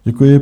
Děkuji.